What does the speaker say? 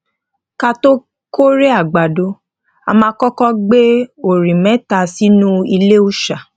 ka tó kórè àgbàdo a máa koko gbé orí méta sínú ilé òòṣà